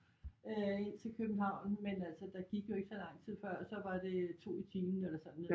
Øh ind til København men altså der gik jo ikke så lang tid før så var det 2 i timen eller sådan